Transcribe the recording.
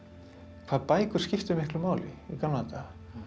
hvað bækur skipta miklu máli í gamla daga